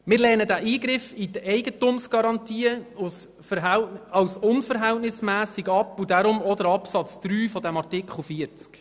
Wir lehnen diesen Eingriff in die Eigentumsgarantie als unverhältnismässig ab und deshalb ebenfalls den Absatz 3 des Artikels 40.